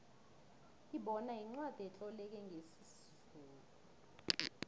ibona yincwacli etloleke ngesizulu